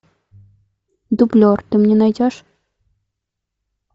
дублер ты мне найдешь